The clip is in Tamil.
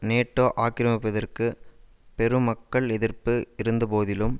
நேட்டோ ஆக்கிரமிப்பிற்குப் பெரும் மக்கள் எதிர்ப்பு இருந்த போதிலும்